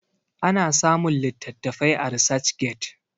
ana samun litattafai a research get